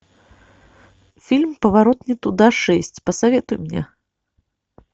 фильм поворот не туда шесть посоветуй мне